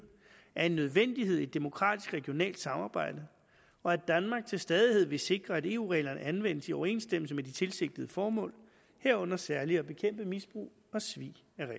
er en nødvendighed i et demokratisk regionalt samarbejde og at danmark til stadighed vil sikre at eu reglerne anvendes i overensstemmelse med de tilsigtede formål herunder særlig at bekæmpe misbrug og svig